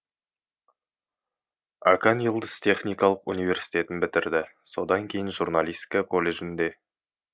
акан йылдыз техникалық университетін бітірді содан кейін журналистика колледжін де